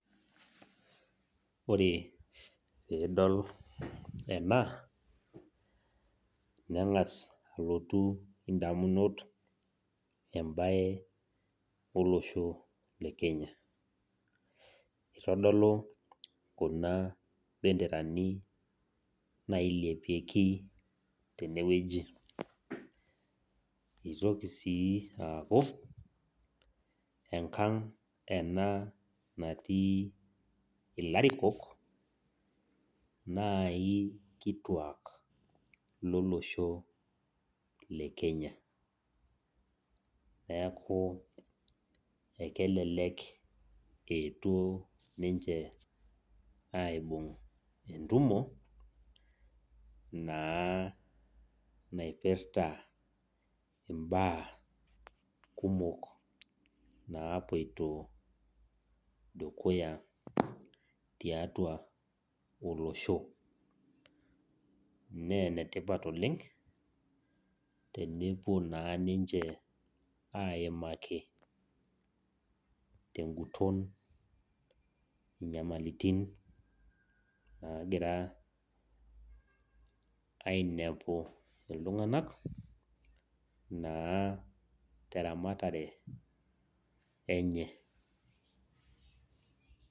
Ore tenidol ena nengas alotu indamunot olosho lekenya , itodolu kuna benderani nailepieki tenewueji , itoki sii aaku enkang ena natii ilarikok nai kituak lolosho lekenya, neku ekelelek eetuo ninche aibung entumo nairpita imbaa napoito dukuya tiatua olosho. Naa enetipat tenepuo naa ninche aimaki tenguton inyamalitin nagira ainepu iltunganak naa termatare enye.